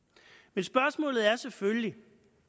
men spørgsmålet er selvfølgelig